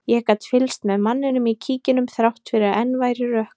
Ég gat fylgst með manninum í kíkinum þrátt fyrir að enn væri rökkur.